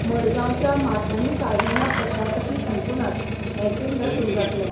मडगांवच्या माथानी साल्ढाणा प्रशासकी संकुलांत हें केंद्र सुरू जातलें.